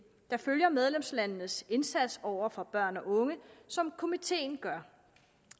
der følger medlemslandenes indsats over for børn og unge som komiteen gør